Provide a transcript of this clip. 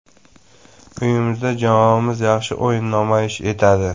Uyimizda jamoamiz yaxshi o‘yin namoyish etadi.